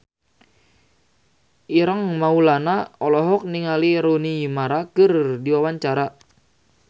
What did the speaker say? Ireng Maulana olohok ningali Rooney Mara keur diwawancara